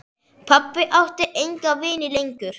Pabbi átti enga vini lengur.